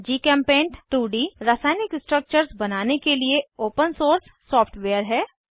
जीचेम्पेंट 2डी रासायनिक स्ट्रक्चर्स बनाने के लिए ओपन सोर्स सॉफ्टवेयर है